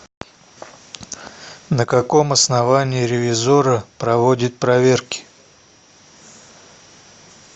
на каком основании ревизорро проводит проверки